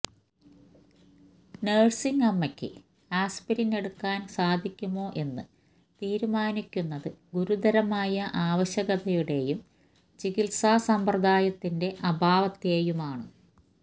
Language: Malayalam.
നഴ്സിംഗ് അമ്മയ്ക്ക് ആസ്പിരിൻ എടുക്കാൻ സാധിക്കുമോ എന്ന് തീരുമാനിക്കുന്നത് ഗുരുതരമായ ആവശ്യകതയുടേയും ചികിത്സാ സമ്പ്രദായത്തിന്റെ അഭാവത്തെയുമാണ്